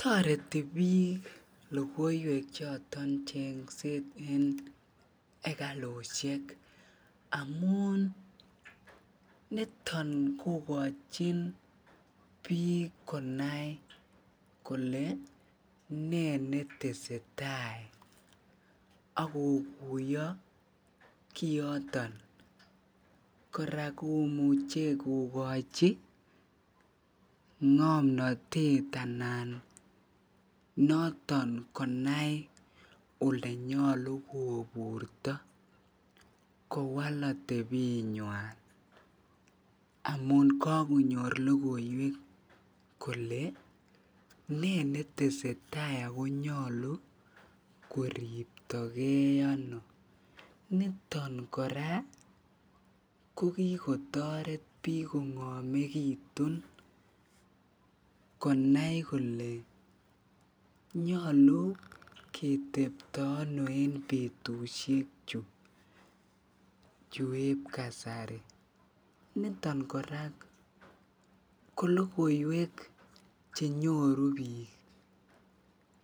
Toreti biik lokoiwek choton enekalushek amun niton kokochin biik konai kolee ne netesetai ak kokuyo kioton, kora komuche kokochi ngomnotet anan noton konai olenyolu koburto kowal otebenywan amun kokonyor lokoiwek kolee nee netesetai ak konyolu koriptokei ano, niton kora ko kikotoret biik kongomekitun konai kole nyolu ketebto anoo en betushechu chueb kasari, niton kora kolokoiwek chenyoru biik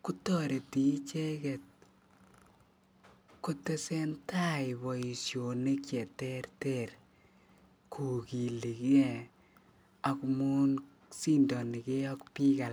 kotoreti icheket kotesentai boishonik cheterter kokilike amun sindonike ak biik alak.